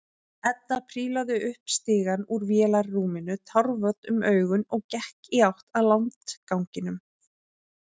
Edda prílaði upp stigann úr vélarrúminu, tárvot um augun og gekk í átt að landganginum.